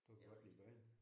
Du kan godt lide børn?